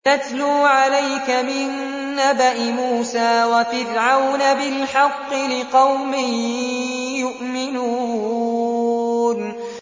نَتْلُو عَلَيْكَ مِن نَّبَإِ مُوسَىٰ وَفِرْعَوْنَ بِالْحَقِّ لِقَوْمٍ يُؤْمِنُونَ